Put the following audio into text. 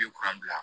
U ye kuran bila